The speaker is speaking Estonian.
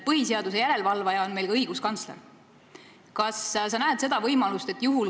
Põhiseaduse täitmise järele valvaja on meil ka õiguskantsler.